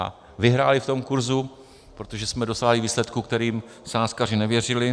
A vyhráli v tom kurzu, protože jsme dosáhli výsledku, kterým sázkaři nevěřili.